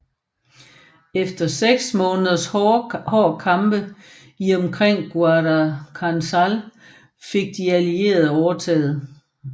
Efter seks måneders hård kampe i og omkring Guadalcanal fik de allierede overtaget